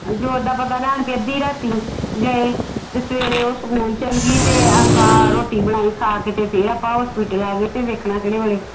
ਜੋਤ ਦਾ ਪਤਾ ਲੈਣ ਪੀ ਅੱਧੀ ਰਾਤੀ ਗਏ ਤੇ ਫਿਰ ਉਹ ਸਕੂਲ ਚਲ ਗਈ ਤੇ ਆਪਾ ਰੋਟੀ ਬਣਾਈ ਖਾ ਕੇ ਤੇ ਫਿਰ ਆਪਾ hospital ਆਗੇ ਤੇ ਵੇਖਣਾ ਕਿਹੜੇ ਵੇਲੇ